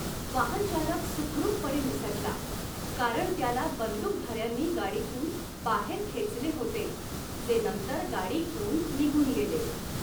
वाहनचालक सुखरूपपणे निसटला कारण त्याला बंदूकधाऱ्यांनी गाडीतून बाहेर खेचले होते, जे नंतर गाडी घेऊन निघून गेले.